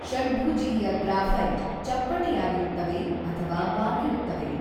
ಷಡ್ಭುಜೀಯ graphite ಚಪ್ಟಟೆಯಾಗಿರುತ್ತವೆ ಅಥವಾ ಬಾಗಿರುತ್ತವೆ.